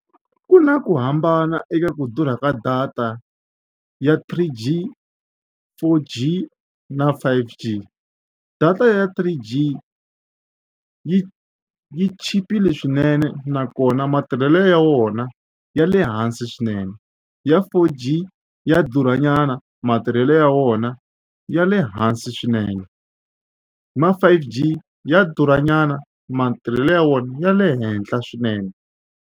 Ku na ku hambana eka ku durha ka data ya three G, four G na five G. Data ya three G yi yi chipile swinene nakona matirhelo ya wona ya le hansi swinene ya four G ya durhanyana matirhelo ya wona ya le hansi swinene ma five G ya durhanyana matirhelo ya wona ya le henhla swinene.